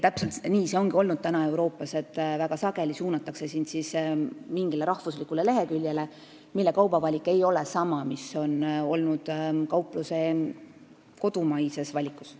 Täpselt nii ongi Euroopas olnud, et väga sageli suunatakse sind mingi riigi leheküljele, mille kaubavalik ei ole sama, mis on olnud kaupluse kodumaises valikus.